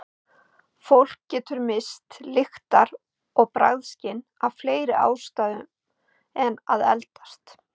Fólk getur misst lyktar- og bragðskyn af fleiri ástæðum en að eldast.